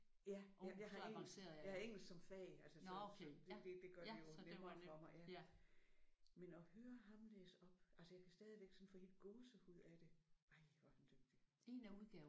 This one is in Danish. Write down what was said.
Ja jeg jeg har engelsk jeg har engelsk som fag altså så så det det gør det jo nemmere for mig ja. Men at høre ham læse op altså jeg kan stadig sådan få helt gåsehud af det ej hvor er han dygtig